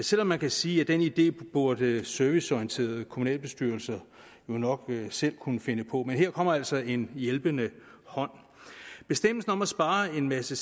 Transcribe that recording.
selv om man kan sige at den idé burde serviceorienterede kommunalbestyrelser jo nok selv kunne finde på men her kommer altså en hjælpende hånd bestemmelsen om at spare en masse